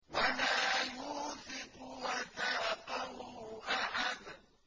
وَلَا يُوثِقُ وَثَاقَهُ أَحَدٌ